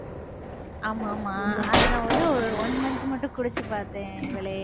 ஆமா ஆமா அது நான் ஒரே ஒரு one month மட்டும் குடிச்சுப் பார்த்தேன் இவளே